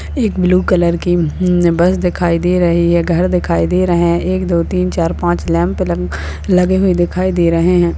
एक blue colour की bus दिखाई दे रही है घर दिखाई दे रहे हैं एक दो तीन चार पांच लैंप लंप लगे हुए दिखाई दे रहे हैं।